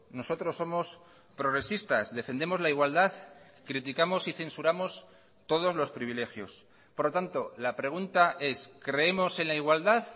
nosotros somos progresistas defendemos la igualdad criticamos y censuramos todos los privilegios por lo tanto la pregunta es creemos en la igualdad